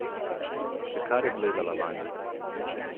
Še kar je gledala vanjo.